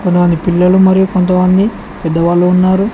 వారి పిల్లలు మరియు కొంతమంది పెద్ద వాళ్ళు ఉన్నారు.